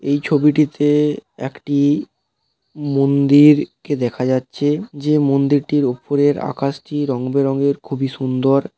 এই ছবিটিতে একটি মন্দির কে দেখা যাচ্ছে যে মন্দিরটির উপরের আকাশটি রংবেরঙের খুবই সুন্দর।